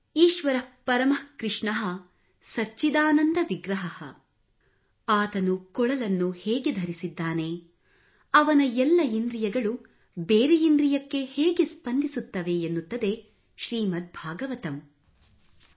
ಈಶ್ವರಃ ಪರಮಃ ಕೃಷ್ಣಃ ಸಚ್ಚಿದಾನಂದ ವಿಗ್ರಃ ಆತನು ಕೊಳಲನ್ನು ಹೇಗೆ ಧರಿಸಿದ್ದಾನೆ ಅವನ ಎಲ್ಲ ಇಂದ್ರಿಯಗಳು ಬೇರೆ ಇಂದ್ರಿಯಕ್ಕೆ ಹೇಗೆ ಸ್ಪಂದಿಸುತ್ತವೆ ಎನ್ನುತ್ತದೆ ಶ್ರೀಮದ್ ಭಾಗವತಮ್ ಟಿಸಿಆರ್ 9